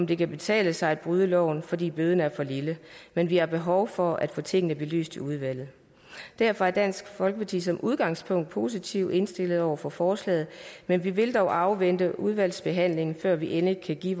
det kan betale sig at bryde loven fordi bøden er for lille men vi har behov for at få tingene belyst i udvalget derfor er dansk folkeparti som udgangspunkt positivt indstillet over for forslaget men vi vil dog afvente udvalgsbehandlingen før vi endeligt kan give